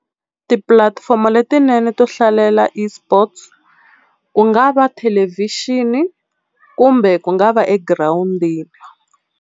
Tipulatifomo letinene to hlalela eSports ku nga va thelevhixini kumbe ku nga va egirawundini.